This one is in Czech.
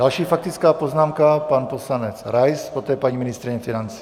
Další faktická poznámka, pan poslanec Rais, poté paní ministryně financí.